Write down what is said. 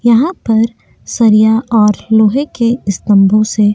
यहाँ पर सरिया और लोहे के स्तंभों से --